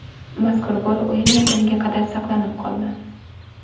Mazkur gol o‘yin yakuniga qadar saqlanib qoldi.